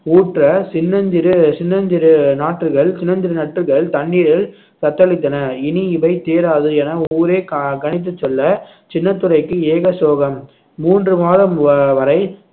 ஊற்ற சின்னஞ்சிறு சின்னஞ்சிறு நாற்றுகள் சின்னஞ்சிறு நட்டுகள் தண்ணீரில் தத்தளித்தன இனி இவை தேராது என ஊரே க~ கணித்துச் சொல்ல சின்னத்துரைக்கு ஏக சோகம் மூன்று மாதம் வ~ வரை